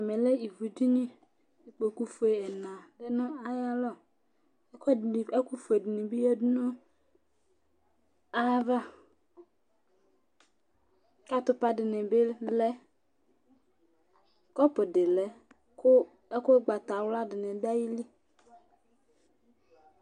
Ɛmɛlɛ ivʋ ɖìní Ikposo fʋe ɛna lɛ ŋu aya lɔ Ɛku fʋe ɖìŋí bi lɛ ŋu ayʋ ava Atupa ɖìní bi lɛ Kɔpu ɖi lɛ kʋ ɛku ugbatawla ɖìŋí ɖu ayìlí